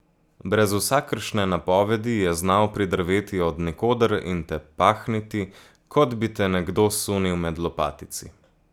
Brez vsakršne napovedi je znal pridrveti od nikoder in te pahniti, kot bi te nekdo sunil med lopatici.